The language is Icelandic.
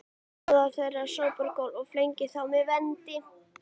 Móðir þeirra sópar gólf og flengir þá með vendi